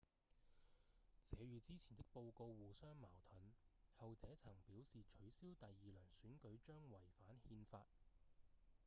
這與之前的報告互相矛盾後者曾表示取消第二輪選舉將違反憲法